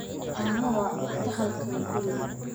Caano waa cunto halkan guriga